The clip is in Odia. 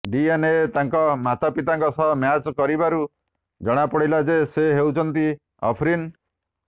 ଡିଏନଏ ତାଙ୍କ ମାତାପିତାଙ୍କ ସହ ମ୍ୟାଚ କରିବାରୁ ଜଣାଗଲାଯେ ସେ ହେଉଛନ୍ତି ଅଫରିନ